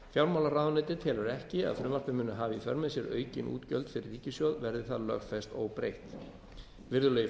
fjármálaráðuneytið telur ekki að frumvarpið muni hafa í för með sér aukin útgjöld fyrir ríkissjóð verði það lögfest óbreytt virðulegi